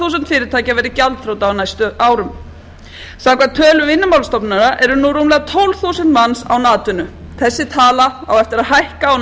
fyrirtækja verði gjaldþrota á næstu árum samkvæmt tölum vinnumálastofnunar eru nú rúmlega tólf þúsund manns án atvinnu þessi tala á eftir að hækka á